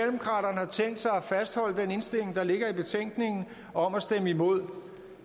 fastholde den indstilling der ligger i betænkningen om at stemme imod